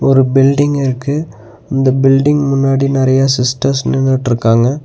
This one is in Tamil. ஒரு பில்டிங் இருக்கு இந்த பில்டிங் முன்னாடி நெறையா சிஸ்டர்ஸ் நின்னுட்ருக்காங்க.